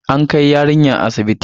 An kai yarinyar asibitin.